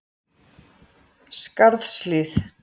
Skarðshlíð